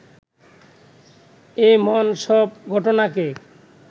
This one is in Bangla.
এমন সব ঘটনাকে